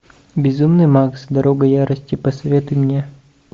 безумный макс дорога ярости посоветуй мне